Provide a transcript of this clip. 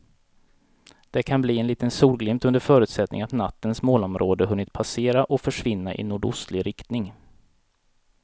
Det kan bli en liten solglimt under förutsättning att nattens molnområde hunnit passera och försvinna i nordostlig riktning.